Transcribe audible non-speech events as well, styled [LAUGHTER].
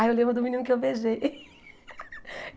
Ah eu lembro do menino que eu beijei. [LAUGHS]